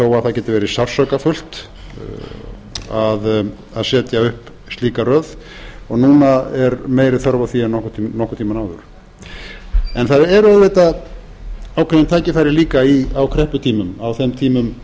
þó að það geti verið sársaukafullt að setja upp slíka röð og núna er meiri þörf á því en nokkurn tíma áður en það er auðvitað ákveðin tækifæri líka á krepputímum á þeim tímum